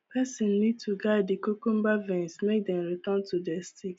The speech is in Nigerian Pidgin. person need to guide the cucumber vines make dem return to their sticks